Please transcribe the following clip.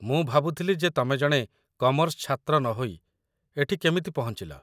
ମୁଁ ଭାବୁଥିଲି ଯେ ତମେ ଜଣେ କମର୍ସ ଛାତ୍ର ନହୋଇ ଏଠି କେମିତି ପହଞ୍ଚିଲ